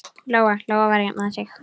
Lóa-Lóa var að jafna sig.